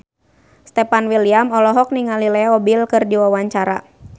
Stefan William olohok ningali Leo Bill keur diwawancara